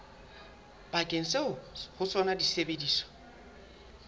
sebakeng seo ho sona disebediswa